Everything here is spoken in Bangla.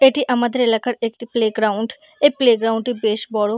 এটি আমাদের এলাকার একটি প্লেগ্রাউন্ড প্লেগ্রাউন্ড -টি বেশ বড়।